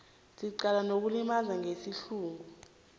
secala lokulimaza ngesihluku